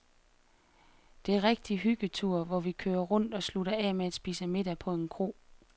Det er rigtige hyggeture, hvor vi kører rundt og slutter af med at spise middag på en kro.